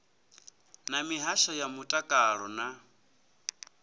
na mihasho ya mutakalo na